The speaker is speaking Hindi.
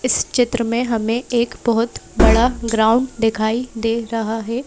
इस चित्र में हमें एक बहुत बड़ा ग्राउंड दिखाई दे रहा है।